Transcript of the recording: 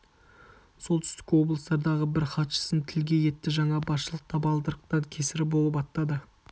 солтүстік облыстардағы бір хатшысын тілге етті жаңа басшылық табалдырықтан кесірі болып аттады